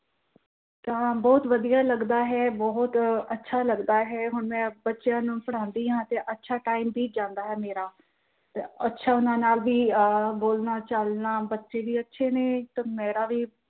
ਤਾਂ ਬਹੁਤ ਵਧੀਆ ਲੱਗਦਾ ਹੈ ਬਹੁਤ ਅੱਛਾ ਲੱਗਦਾ ਹੈ ਤੇ ਹੁਣ ਮੈਂ ਬੱਚਿਆਂ ਨੂੰ ਪੜ੍ਹਾਉਂਦੀ ਹਾਂ ਤੇ ਅੱਛਾ time ਬੀਤ ਜਾਂਦਾ ਹੈ ਮੇਰਾ, ਅੱਛਾ ਉਹਨਾਂ ਨਾਲ ਵੀ ਅਹ ਬੋਲਣਾ ਚੱਲਣਾ ਬੱਚੇ ਵੀ ਅੱਛੇ ਨੇ